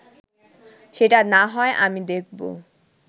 সেটা না হয় আমি দেখব